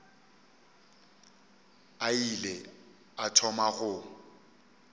a ile a thoma go